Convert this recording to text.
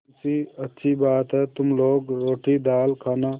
मुंशीअच्छी बात है तुम लोग रोटीदाल खाना